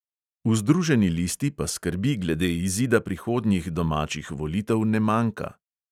V združeni listi pa skrbi glede izida prihodnjih domačih volitev ne manjka.